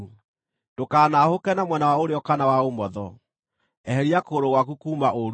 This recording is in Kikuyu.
Ndũkanaahũke na mwena wa ũrĩo kana wa ũmotho; eheria kũgũrũ gwaku kuuma ũũru-inĩ.